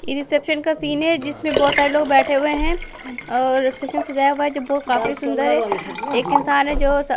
ये रिसेप्शन का सीन है जिसमें बहुत सारे लोग बैठे हुए हैं और सच में सजाया हुआ है जो बहुत काफी सुंदर है एक इंसान है जो --